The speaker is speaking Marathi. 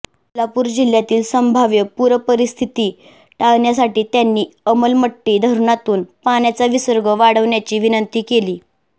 कोल्हापूर जिल्ह्यातील संभाव्य पूरपरिस्थिती टाळण्यासाठी त्यांनी अलमट्टी धरणातून पाण्याचा विसर्ग वाढवण्याची विनंती केली